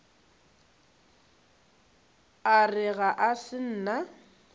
a re ga se nna